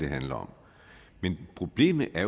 handler om men problemet